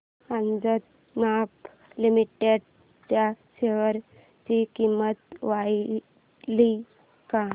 Ajanta pharma limited च्या share ची किंमत वाढली का